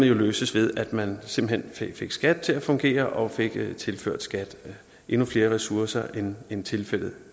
jo løses ved at man simpelt hen fik skat til at fungere og fik tilført skat endnu flere ressourcer end end tilfældet